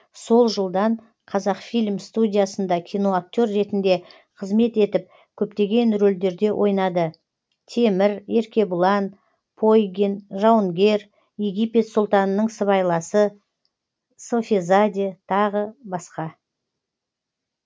сол жылдан қазақфильм студиясында киноактер ретінде қызмет етіп көптеген рөлдерде ойнады темір еркебұлан пойгин жауынгер египет сұлтанының сыбайласы софизаде тағы басқа